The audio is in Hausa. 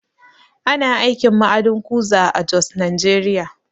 Ana aikin ma'adin kuza a Jos, Najeriya